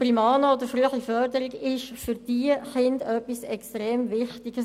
Primano oder frühe Förderung ist für diese Kinder äusserst wichtig.